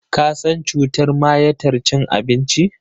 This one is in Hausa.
Ka san cutar mayatar cin abinci?